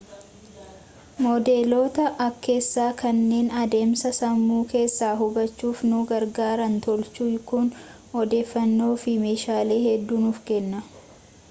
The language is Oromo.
moodeloota akkeessaa kanneen adeemsa sammuu keessaa hubachuuf nu gargaaran tolchuuf kun odeeffannoo fi meeshaalee hedduu nuuf kenna